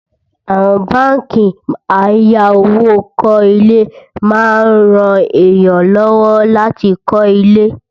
àwọn bánkì àyà owó kò ilé má ń ràn èyán ló wò láti kò lè